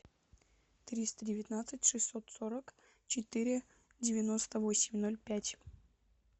триста девятнадцать шестьсот сорок четыре девяносто восемь ноль пять